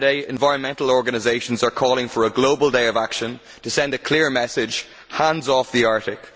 Environmental organisations are calling for a global day of action next Saturday to send a clear message Hands off the Arctic.